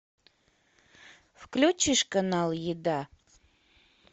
включишь канал еда